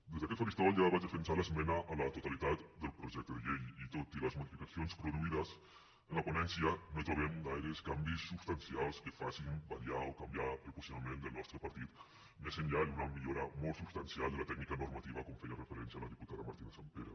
des d’aquest faristol ja vaig defensar l’esmena a la totalitat del projecte de llei i tot i les modificacions produïdes en la ponència no hi trobem gaires canvis substancials que facin variar o canviar el posicionament del nostre partit més enllà d’una millora molt substancial de la tècnica normativa com hi feia referència la diputada martínez sampere